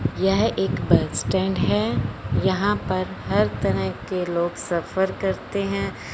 यह एक bus stand हैं। यहाँ पर हर तरह के लोग सफर करते हैं।